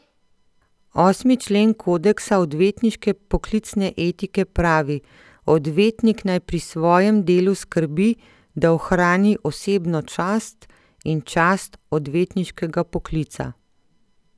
Osmi člen kodeksa odvetniške poklicne etike pravi: "Odvetnik naj pri svojem delu skrbi, da ohrani osebno čast in čast odvetniškega poklica.